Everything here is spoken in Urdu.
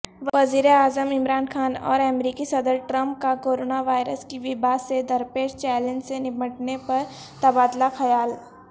وزیراعظم عمران خان اورامریکی صدر ٹرمپ کاکورونا وائرس کی وباء سےدرپیش چیلنج سےنمٹنےپر تبادلہ خیال